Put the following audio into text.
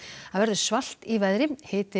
það verður svalt í veðri hiti